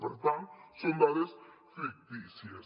per tant són dades fictícies